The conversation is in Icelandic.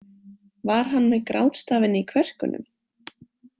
Var hann með grátstafinn í kverkunum?